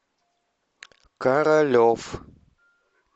королев